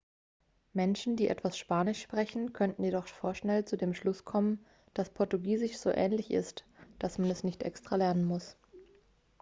menschen die etwas spanisch sprechen könnten jedoch vorschnell zu dem schluss kommen dass portugiesisch so ähnlich ist dass man es nicht extra lernen muss